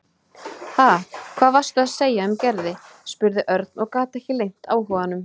Ha, hvað varstu að segja um Gerði? spurði Örn og gat ekki leynt áhuganum.